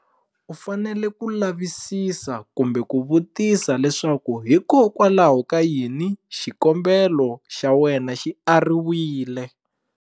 U fanele ku lavisisa kumbe ku vutisa leswaku hikokwalaho ka yini xikombelo xa wena xi ariwile.